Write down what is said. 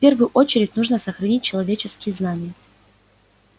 в первую очередь нужно сохранить человеческие знания